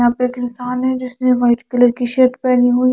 यहा पे एक इंसान है जिसने वाइट कलर की शर्ट पहनी हुई है ।